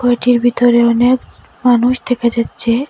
ঘরটির ভিতরে অনেক মানুষ দেখা যাচ্ছে।